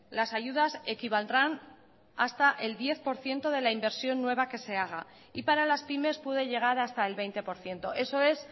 las ayudas equivaldrán hasta el diez por ciento de la inversión nueva que se haga y para las pymes puede llegar hasta el veinte por ciento eso es